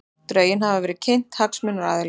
Drögin hafa verið kynnt hagsmunaaðilum